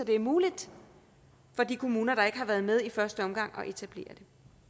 det er muligt for de kommuner der ikke har været med i første omgang at etablere det